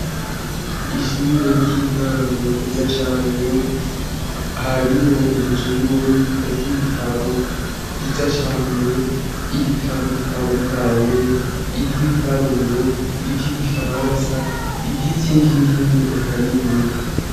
Ishure ry'intango ryiza cane, harimwo inzu y'ububiko bw'ibitabo vyiza cane, ibitabo bitandukanye ivy'ibiharuro, ivy'igifaransa, ivy'izindi ndimi eka n'ibindi.